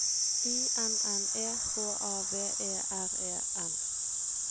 I N N E H A V E R E N